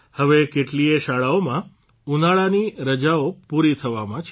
હવે કેટલીયે શાળાઓમાં ઉનાળાની રજાઓ પૂરી થવામાં છે